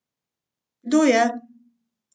Kdo je?